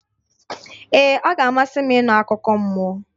Ee, ọ ga-amasị m ịnụ akụkọ mmụọ.